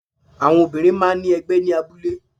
Àwọn Obìnrin máa ní ẹgbẹ́ ní abúlé